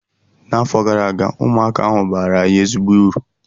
N’afọ gara aga, ụmụaka ahụ baara anyị ezigbo uru